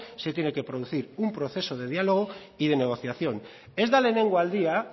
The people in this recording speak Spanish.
se tiene que producir un proceso de diálogo y de negociación ez da lehenengo aldia